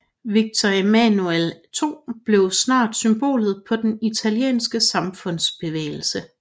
Victor Emmanuel II blev snart symbolet på den italienske samlingsbevægelse